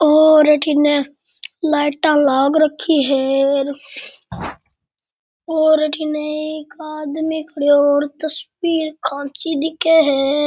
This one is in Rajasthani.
और अठीने लाइटा लाग रखी है और अठीने एक आदमी खड़यो और तस्वीर खांची दिखे है।